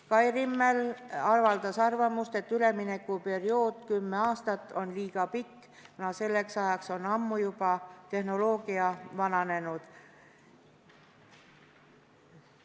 Kai Rimmel avaldas arvamust, et kümneaastane üleminekuperiood on liiga pikk, kuna selleks ajaks on tehnoloogia ammu juba vananenud.